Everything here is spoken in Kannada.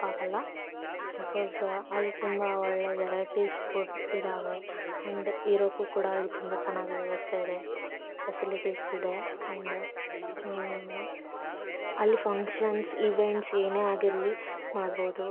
ತಪ್ಪಾಗಲ್ಲ ಬಿಕಾಸ್ ಅಲ್ಲಿ ತುಂಬಾ ವೆರೈಟಿ ಫುಡ್ ಇದಾವೆ ಅಂಡ್ ಇರೋಕು ಕೂಡ ಅಲ್ಲಿ ತುಂಬಾ ಚೆನ್ನಾಗಿ ವ್ಯವಸ್ಥೆ ಇದೆ. ಫೆಸಿಲಿಟಿ ಸ್ ಇದೆ ಅಂಡ್ ಆ ಅಲ್ಲಿ ಫಂಕ್ಷನ್ಸ್ ಇವೆಂಟ್ಸ್ ಏನೇ ಆಗಿರಲಿ ಮಾಡಬಹುದು.